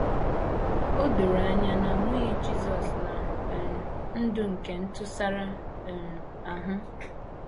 O doro anya na a mụghị Jisọs ná um ndụ nke ntụsara um ahụ.